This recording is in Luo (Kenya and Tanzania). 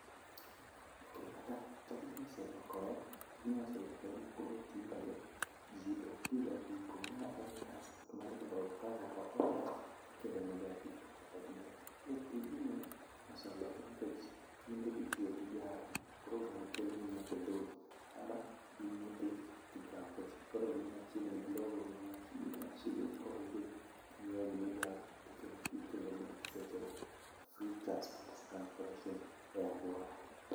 Tijni oselokore tijni oselokore ma koro tinde ji okti ga apiko. Ma en transport mar glovo ka ngato oorder tikelo ne ga apiko kata. koro tijni oselokoro nikech tinde itiyo gi gari koro gari keloni nyake dhodi ama in midhi tikao nikech koro gin machiegni, glovo ni machiegni machiegni koro idhi ti inyieo gimi dwaro to ikelo sechego. Food transport transformation e aluora